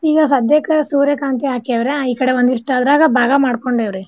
ಈಗ ಸದ್ಯಕ್ ಸೂರ್ಯಕಾಂತಿ ಹಾಕ್ಯಾವ್ರ ಈ ಕಡೆ ಒಂದಿಸ್ಟ ಅದ್ರಾಗ ಬಾಗಾ ಮಾಡ್ ಕೊಂಡೇವ್ ರೀ.